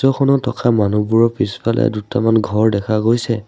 Photo খনত থকা মানুহবোৰৰ পিছফালে দুটামান ঘৰ দেখা গৈছে।